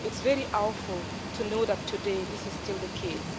It's really awful to know that today this is still the case.